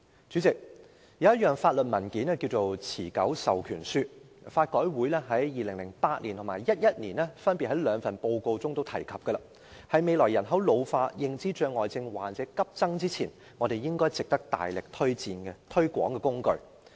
主席，有一種法律文件名為"持久授權書"，香港法律改革委員會曾於2008年和2011年分別在兩份報告中提及這文件，是在未來人口老化、認知障礙症患者急增前，值得我們大力推廣的工具。